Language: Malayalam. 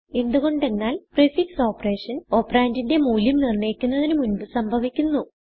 എന്ത് കൊണ്ടെന്നാൽprefix ഓപ്പറേഷൻ ഓപ്പറണ്ട് ന്റിന്റെ മൂല്യം നിർണയിക്കപ്പെടുന്നതിന് മുൻപ് സംഭവിക്കുന്നു